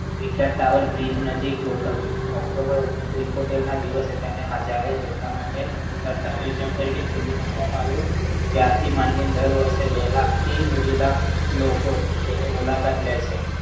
Vichar tower bridge નજીક ગોઠવ્યું October ઓગણીસો એકોતેરના દિવસે તેને જાહેર જનતા માટે જનતા Museum તરીકે ખુલ્લું મૂકવામાં આવ્યું ત્યારથી માંડીને દર વખતે બે લાખથી અઢી લાખ લોકો તેની મુલાકાત લે છે